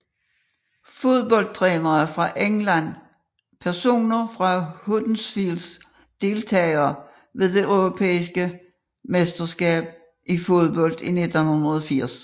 Fodboldtrænere fra England Personer fra Huddersfield Deltagere ved det europæiske mesterskab i fodbold 1980